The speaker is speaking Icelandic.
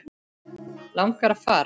Langar að fara.